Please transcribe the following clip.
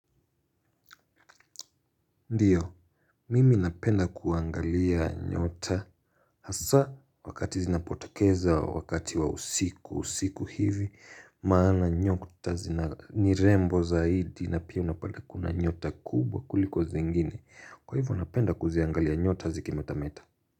Ndiyo, mimi napenda kuangalia nyota hasa wakati zinapotekeza wakati wa usiku, usiku hivi, maana nyota zina ni rembo zaidi na pia unapale kuna nyota kubwa kuliko zingine. Kwa hivyo napenda kuziangalia nyota zikimetameta.